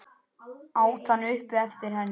át hann upp eftir henni.